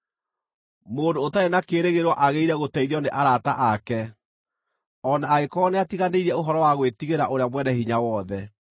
“Mũndũ ũtarĩ na kĩĩrĩgĩrĩro aagĩrĩire gũteithio nĩ arata ake, o na angĩkorwo nĩatiganĩirie ũhoro wa gwĩtigĩra Ũrĩa Mwene-Hinya-Wothe.